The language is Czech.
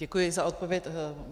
Děkuji za odpověď.